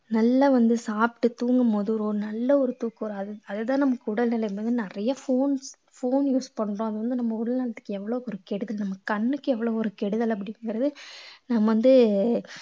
நல்லா வந்து சாப்பிட்டு தூங்கும் போது ஒரு நல்ல ஒரு தூக்கம் வரும் அது அதுதான் நமக்கு உடல்நிலை வந்து நிறைய phone phone use பண்றோம் அது வந்து நம்ம உடல் நலத்துக்கு எவ்வளவு ஒரு கெடுதல் நம்ம கண்ணுக்கு எவ்வளவு ஒரு கெடுதல் அப்படிங்கறது நம்ம வந்து